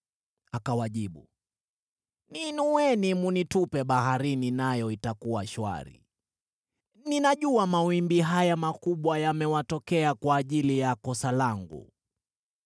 Akawajibu, “Niinueni mnitupe baharini, nayo itakuwa shwari. Ninajua mawimbi haya makubwa yamewatokea kwa ajili ya kosa langu.”